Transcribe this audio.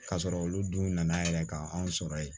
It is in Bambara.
K'a sɔrɔ olu dun nana yɛrɛ ka anw sɔrɔ ye